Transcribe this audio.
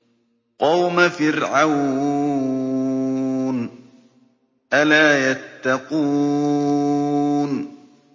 قَوْمَ فِرْعَوْنَ ۚ أَلَا يَتَّقُونَ